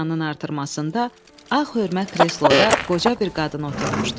Binanın artırmasında ağ hörmə kresloda qoca bir qadın oturmuşdu.